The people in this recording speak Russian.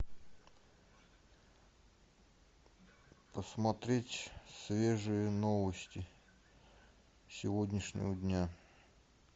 посмотреть свежие новости сегодняшнего дня